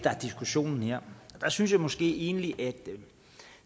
er diskussionen jeg synes måske egentlig at